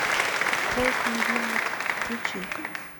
кровь невинных включи